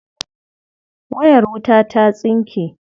Wayar wuta ta tsinke.